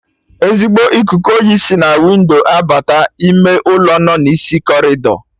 Ezigbo ikuku oyi si na windo abata ime ụlọ nọ n'isi corridor